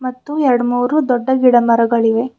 ಮತ್ತು ಎರಡ್ ಮೂರು ದೊಡ್ಡ ಗಿಡ ಮರಗಳಿವೆ.